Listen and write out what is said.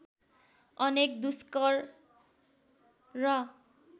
अनेक दुष्कर र